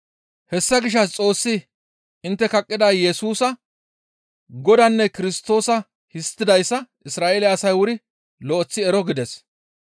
«Hessa gishshas Xoossi intte kaqqida Yesusa Godaanne Kirstoosa histtidayssa Isra7eele asay wuri lo7eththi ero» gides.